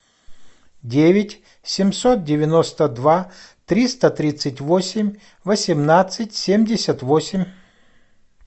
девять семьсот девяносто два триста тридцать восемь восемнадцать семьдесят восемь